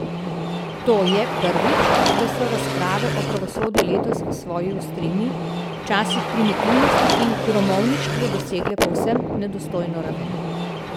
To je, prvič, da so razprave o pravosodju letos v svoji ostrini, včasih primitivnosti in gromovništvu dosegle povsem nedostojno raven.